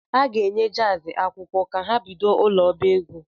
A ga-enye JAZ akwụkwọ ka ha bido ụ̣lọọbaego